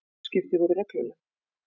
Útskipti voru regluleg.